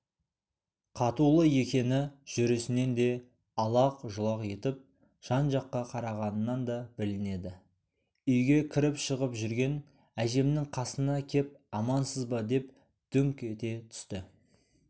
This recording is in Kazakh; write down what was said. қатулы екені жүрісінен де алақ-жұлақ етіп жан-жаққа қарағанынан да білінеді үйге кіріп-шығып жүрген әжемнің қасына кеп амансыз ба деп дүңк ете түсті